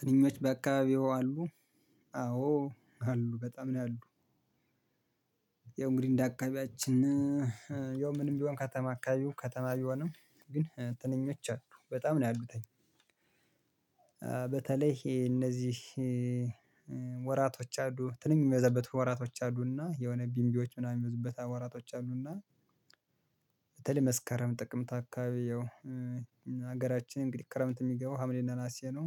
ትንኞች በአካባቢው አሉ አዎ አሉ በጣም ነው ያሉት። ያው እንግዲህ እንደ አካባቢያችን ያው ምንም ቢሆን ከተማ አካባቢው ከተማ ቢሆንም ግን ትንኞች አሉ በጣም ነው ያሉት። በተለይ ይሄ እነዚህ ወራቶች አሉ ትንኝ የሚወዛበት ወራቶች አሉና የሆነ ቢምቢዎች ምናምን የሚወዙበት ወራቶች አሉና በተለይ መስከረም ጥቅምት አካባቢ ያው ሀገራችን እንግዲህ ክረምት የሚገባው ሀምሌና ነሀሴ ነው።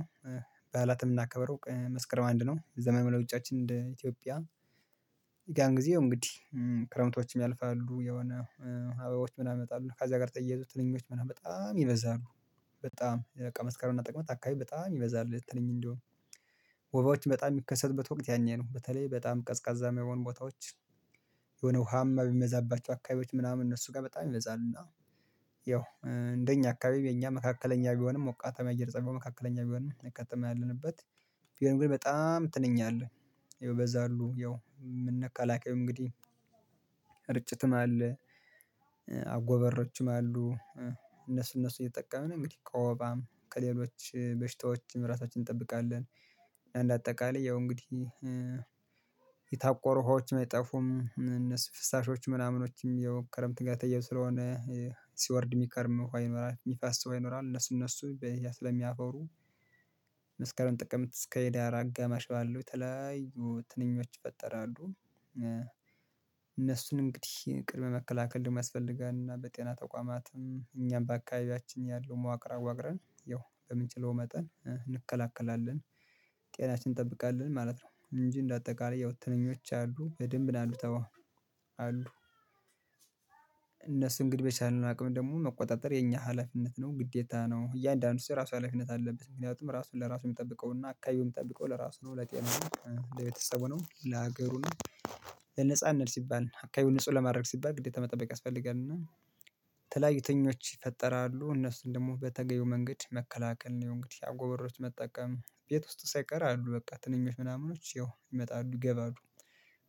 በዓላትም እምናከብረው መስከረም አንድ ነው ዘመን መለወጫችን እንደ ኢትዮጵያ ያን ጊዜ እንግዲህ ክረምቶችም ያልፋሉ የሆነ አበባዎች ምናምን ይመጣሉ ከዛ ጋር ተያይዞ ትንኞች ምናምን በጣም ይበዛሉ። በጣም በቃ መስከረምና ጥቅመት አካባቢ በጣም ይበዛል ትልኝ እንዲሆን ወባዎች በጣም የሚከሰትበት ወቅት ያኔ ነው በተለይ በጣም ቀዝቃዛማ የሆኑ ቦታዎች። የሆነ ውሃም በሚበዛባቸው አካባቢዎች ምናምን እነሱ ጋር በጣም ይበዛሉ እና ያው እንደኛ አካባቢ የኛ መካከለኛ ቢሆንም ሞቃታሚ አየር ፀባይ መካከለኛ ቢሆንም ከተማ ያለንበት ቢሆንም ግን በጣም ትንኝ አለ። ያው ይበዛሉ ያው መከላከያው እንግዲህ እርጭትም አለ አጎበሮችም አሉ እነሱ እነሱ እየተጠቀምን ነው እንግዲህ ከወባም ከሌሎች በሽታዎችም ራሳችንን እንጠብቃለን። እና እንደ አጠቃላይ ያው እንግዲህ የታቆሩ ውሀዎችም አይጠፉም እነሱ ፍሳሾችም ምናምኖችም ያው ከረምት ጋር ተያይዘው ስለሆነ ሲወርድ የሚከርም ውሃ ይኖራል የሚፋስ ውሃ ይኖራል እነሱ ስለሚያፈሩ መስከረም ጥቅምት እስከ ህዳር አጋማሽ ባለው ተለያዩ ትንኞች ይፈጠራሉ። እነሱን እንግዲህ ቅድመ መከላከል ደግሞ ያስፈልጋል እና በጤና ተቋማትም እኛም በአካባቢያችን ያለው መዋቅር አዋቅረን ያው በምንችለው መጠን እንከላከላለን ጤናችን እንጠብቃለን ማለት ነው። እንጂ እንደ አጠቃላይ ያው ትንኞች አሉ በደንብ አሉ ተወው አሉ። እነሱ እንግዲህ በቻለን አቅም ደግሞ መቆጣጠር የኛ ሀላፊነት ነው ግዴታ ነው እያንዳንዱ ሰው የራሱ ሀላፊነት አለበት ምክንያቱም ራሱን ለራሱ የሚጠብቀውና አካባቢውን የሚጠብቀው ለራሱ ነው ለሀገሩ ነው። ለነፃነት ሲባል አካባቢውን ንጹህ ለማድረግ ሲባል ግዴታ መጠበቅ ያስፈልጋልና። የተለያዩ ትንኞች ይፈጠራሉ እነሱን ደግሞ በተገቢው መንገድ መከላከል ነው እንግዲህ አጎበሮች መጠቀም ቤት ውስጥ ሳይቀር አሉ በቃ ትንኞች ምናምኖች ይመጣሉ ይገባሉ።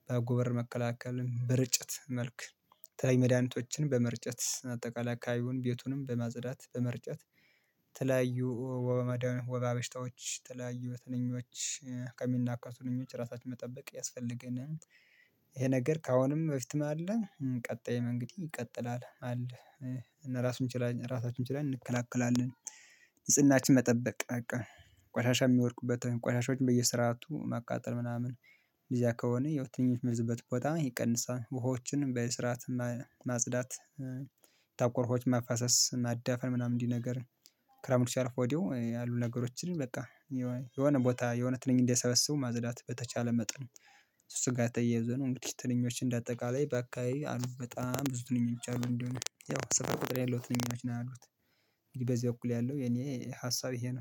በአጎበር መከላከልም በርጭት መልክ ተለይ መድኃኒቶችንም በመርጨት አጠቃላይ አካባቢውን ቤቱንም በማጽዳት በመርጨት ተለያዩ ወባበሽታዎች ተለያዩ ተነኞች ከሚናከሱ ትንኞች ራሳችን መጠበቅ ያስፈልገናል። ይሄ ነገር ከአሁንም በፊትም አለ ቀጣይ እንግዲህ ይቀጥላል አለ እና ራሳቸውን ችላለን እንከላከላለን። ንጽህናችን መጠበቅ በቃ ቆሻሻ የሚወድቁበት ቆሻሻዎችን በየስርዓቱ ማቃጠል ምናምን እዚያ ከሆነ የትኞች ሚይዝበት ቦታ ይቀንሳል ውሃዎችን በስርዓት ማጽዳት የታቆሩ ውሃዎች መፋሰስ ማዳፈን ምናምን እንዲህ ነገር ክረምቱ ሲያልፍ ወዲያው ያሉ ነገሮችን በቃ የሆነ ቦታ የሆነ ትንኝ እንደሰበሰቡ ማጽዳት በተቻለ መጠን እሱ ተያይዞ ነው እንግዲህ ትንኞች እንደ አጠቃላይ ባካባቢ አሉ በጣም ብዙ ትንኞች አሉ እንደሆነ ያው ስፍር ቁጥር ያለው ትንኞች ነው ያሉት። በዚህ እኩል ያለው የኔ ሀሳብ ይሄ ነው